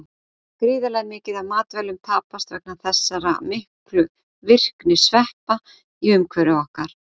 Gríðarlega mikið af matvælum tapast vegna þessara miklu virkni sveppa í umhverfi okkar.